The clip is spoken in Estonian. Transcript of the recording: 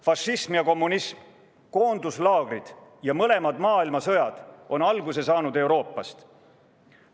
Fašism ja kommunism, koonduslaagrid ja mõlemad maailmasõjad on alguse saanud Euroopast.